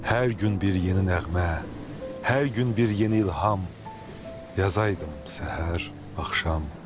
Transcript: Hər gün bir yeni nəğmə, hər gün bir yeni ilham yazaydım səhər, axşam.